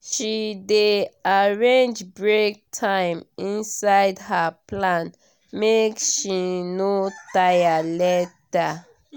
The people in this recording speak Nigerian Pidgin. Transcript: she dey arrange break time inside her plan make she no tire later.